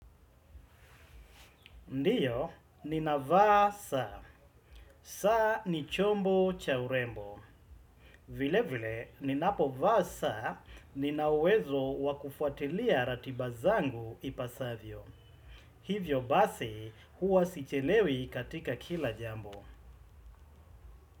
Ndiyo, nina vaa saa. Saa ni chombo cha urembo. Vile vile, ninapovaa saa, nina uwezo wa kufuatilia ratiba zangu ipasavyo. Hivyo basi, huwa sichelewi katika kila jambo.